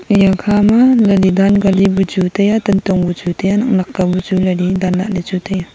eya khama yali dan kali bu chu taiya tantong bu chu taiya nak nak ka bu chu yali dan lahley chu taiya.